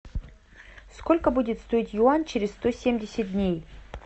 сколько будет стоить юань через сто семьдесят дней